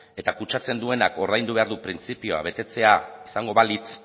eta kutsatzen duenak ordaindu behar du printzipioa betetzea izango balitz